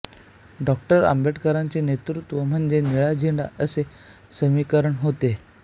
डॉ आंबेडकरांचे नेतृत्व म्हणजे निळा झेंडा असे समीकरण होते